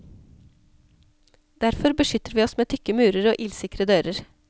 Derfor beskytter vi oss med tykke murer og ildsikre dører.